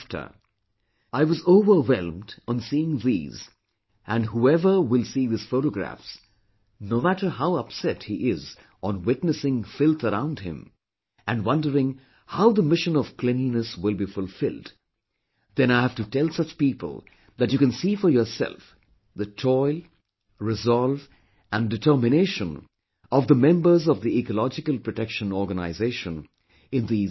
I was overwhelmed on seeing these and whoever will see these photographs, no matter how upset he is on witnessing the filth around him, and wondering how the mission of cleanliness will be fulfilled then I have to tell such people that you can see for yourself the toil, resolve and determination of the members of the Ecological Protection Organization, in these living pictures